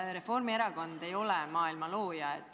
Reformierakond ei ole maailma looja.